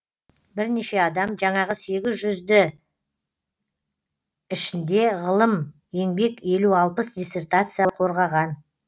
бірнеше адам жаңағы сегіз жүзді ішінде ғылым еңбек елу алпыс диссертация қорғаған